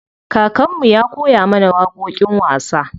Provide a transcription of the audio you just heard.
Kakan mu ya koya mana waƙoƙin wasa.